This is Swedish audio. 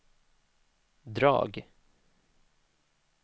drag